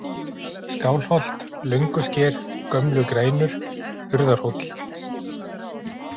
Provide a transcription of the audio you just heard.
Skálholt, Löngusker, Gömlu-Grænur, Urðarhóll